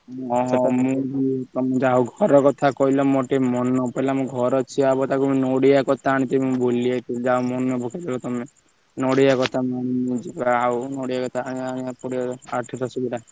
ଓହୋ ଯାହା ହଉ ଘର କଥା କହିଲ ମୋର ଟିକେ ମନେ ପଡିଲା ମୋ ଘର ହବ ତାକୁ ନଡିଆ କତା ଆଣିବାକୁ ମୁଁ ଭୁଲି ଯାଇଥିଲି ଯାହା ହଉ ମାନେ ପକେଇଦେଲ ତମେ ନଡିଆ କତା ଆଉ ଆଣିବାକୁ ପଡିବ ଯୋଉ ନଡିଆ କତା ଆଣିବାକୁ ପଡିବ ଆଠ ଦାସ ବିଡ଼ା।